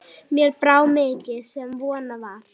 Mér brá mikið sem von var.